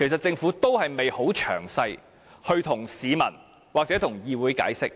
政府並無向市民或議會詳細解釋。